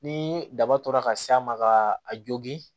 Ni daba tora ka s'a ma ka a jogi